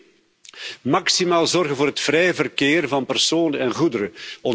Ten tweede, maximaal zorgen voor het vrije verkeer van personen en goederen.